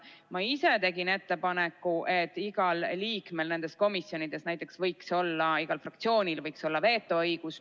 Ma ise tegin ettepaneku, et näiteks võiks igal liikmel või igal fraktsioonil komisjonis olla vetoõigus.